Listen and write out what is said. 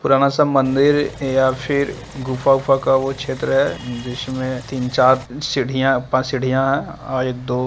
पुराना सा मंदिर या फिर गुफा-गुफा का वह क्षेत्र है। जिसमें तीन-चार सीढ़ियां पांच सीढ़ियां है और एक-दो --